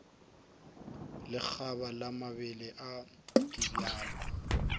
lekgaba la mabele le dibjalo